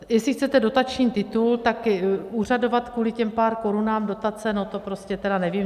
Jestli chcete dotační titul, tak úřadovat kvůli těm pár korunám dotace, no to prostě tedy nevím.